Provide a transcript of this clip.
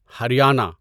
Haryana